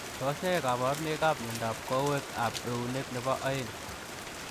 Tos ne kabaruonik ap miondoop koweek ap euneek nepoo oeng